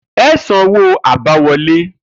E̩ san owó abáwo̩lé!